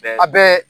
A bɛɛ